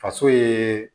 Faso ye